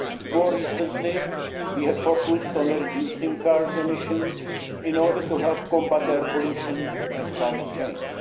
More recently, we have focused on reducing car emissions in order to combat air pollution and climate change.